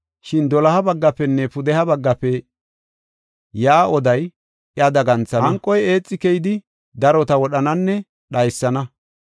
Shin doloha baggaafenne pudeha baggafe yaa oday, iya daganthana. Hanqo eexi keyidi, darota wodhananne dhaysana.